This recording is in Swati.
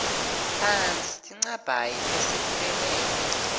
phasi tinchabhayi lesibukene